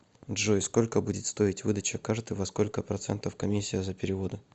джой сколько будет стоить выдача карты во сколько процентов комиссия за переводы